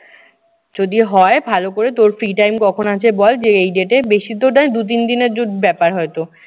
যদি হয় ভালো করে তোর free time কখন আছে বল যে এই date এ। বেশিতো দু তিন এর জো ব্যাপার হয়তো।